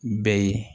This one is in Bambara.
Bɛɛ ye